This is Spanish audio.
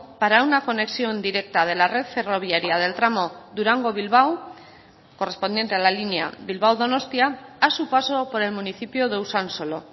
para una conexión directa de la red ferroviaria del tramo durango bilbao correspondiente a la línea bilbao donostia a su paso por el municipio de usansolo